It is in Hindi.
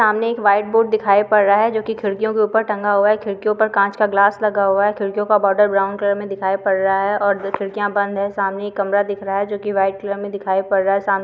सामने एक व्हाइट बोर्ड दिखाई पड़ रहा है जोकि खिड़कियों के ऊपर टंगा हुआ है खिड़कियों पर कांच का ग्लास लगा हुआ है खिड़कियों का बॉर्डर ब्राउन कलर मे दिखाई पड़ रहा है और खिड़कियां बंद हैं सामने एक कमरा दिख रहा है जोकि व्हाइट कलर मे दिखाई पड रहा है साम --